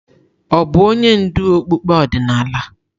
Ọ̀ bụ onye ndú okpukpe ọdịnala?